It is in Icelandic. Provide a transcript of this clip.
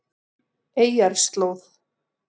Eyjarslóð